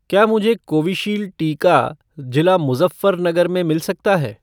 क्या मुझे कोविशील्ड टीका जिला मुज़फ़्फ़रनगर में मिल सकता है?